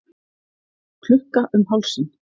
Klukka um hálsinn.